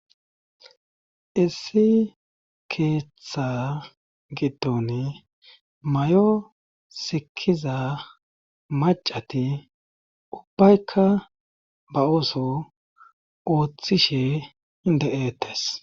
issi keeththa gittone may7o sikiza macati ubbaykka ba uso ooththishe inde7eetes